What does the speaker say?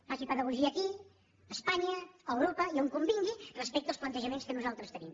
faci pedagogia aquí a espanya a europa i on convingui respecte als plantejaments que nosaltres tenim